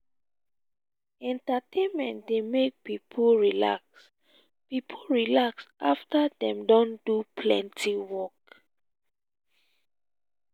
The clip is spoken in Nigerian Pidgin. entertainment dey make pipo relax pipo relax afta dem don do plenty work.